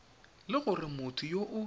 le gore motho yo o